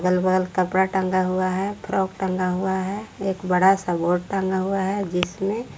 कपडा टंगा हुआ है फ्राक टंगा हुआ है एक बड़ा सा बोर्ड टंगा हुआ है जिसमें--